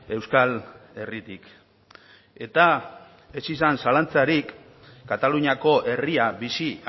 euskal herritik eta ez izan zalantzarik kataluniako herria bizi